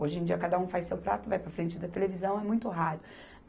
Hoje em dia, cada um faz seu prato, vai para a frente da televisão, é muito raro.